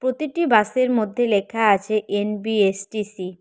প্রতিটি বাসের মধ্যে লেখা আছে এন_বি_এস_টি_সি ।